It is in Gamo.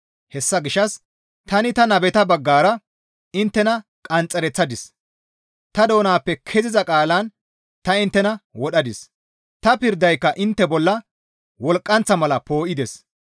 Hessa gishsha s tani ta nabeta baggara inttena qanxxereththadis; ta doonappe ke7iza qaalan ta inttena wodhadis. Ta pirdayka intte bolla wolqqanththa mala poo7ides.